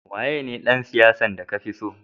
Waya ne dan siyasa de ka fi tso?